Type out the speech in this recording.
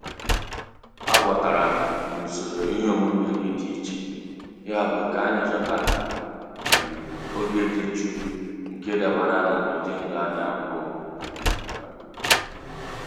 aghọtara m na usoro ihe omume gị dị iche yabụ ka anyị chọta um oge dị jụụ nke dabara n'ụdị ndụ anyị abụọ. um